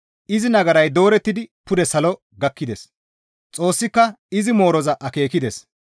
Izi nagaray doorettidi pude salo gakkides; Xoossika izi mooroza akeekides.